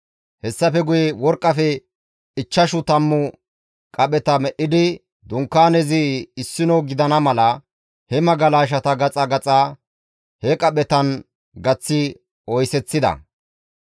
Hessafe guye worqqafe ichchashu tammu qapheta medhdhidi Dunkaanezi issino gidana mala, he magalashata gaxaa gaxaa he qaphetan gaththi oyseththida.